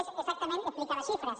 és exactament explicar les xifres